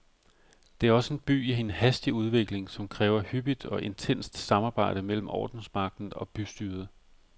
Det er også en by i en hastig udvikling, som kræver hyppigt og intenst samarbejde mellem ordensmagten og bystyret.